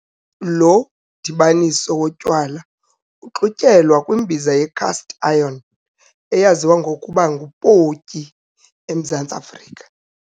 Lo mdibaniso wotywala uxutyelwa kwimbiza ye-cast-iron, eyaziwa ngokuba ngu-potjie emZantsi Afrika.